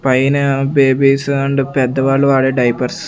పైన babies and పెద్ద వాళ్లు వాడే డైపర్స్ .